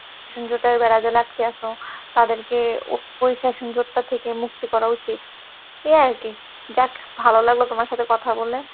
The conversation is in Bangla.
session জোটের বেড়া জালে আটকে আছো তাদেরকে ওই session জোট টা থেকে মুক্তি করা উচিত, এ আর কি, যাক ভালো লাগলে তোমার সাথে কথা বলে।